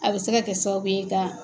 A bɛ se ka kɛ sababu ye ka